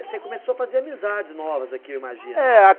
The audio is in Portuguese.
Você começou a fazer amizades novas aqui, eu imagino. É a